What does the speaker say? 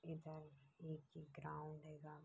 इधर एक ग्राउंड हेगा।